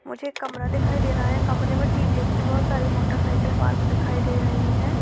मुझे कमरा दिखाई दे रहा है। कमरें मे टीवीएस की बोहोत सारी मोटरसाईकिल पार्क दिखाई दे रही है।